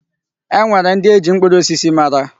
E nwere ndị e ji mkpụrụ osisi mara.